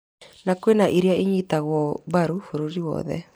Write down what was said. Na nĩ kũrĩ iria inyitagwo mbaru bũrũri wothe